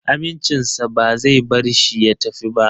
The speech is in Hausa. Amincinsa ba zai bar shi ya tafi ba